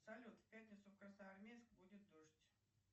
салют в пятницу в красноармейск будет дождь